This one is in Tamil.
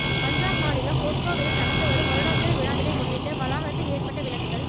பஞ்சாப் மாநிலம் பொற்கோவிலில் நடந்துவரும் வருடாந்திர விழாவினை முன்னிட்டு வளாகத்தில் ஏற்றப்பட்ட விளக்குகள்